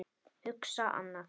Hugsa annað.